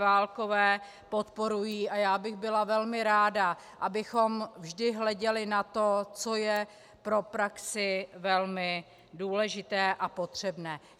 Válkové podporují a já bych byla velmi ráda, abychom vždy hleděli na to, co je pro praxi velmi důležité a potřebné.